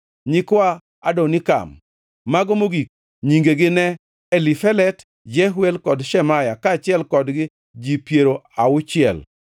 nyikwa Adonikam, mago mogik, nyingegi ne Elifelet, Jeuel kod Shemaya, kaachiel kodgi ji piero auchiel;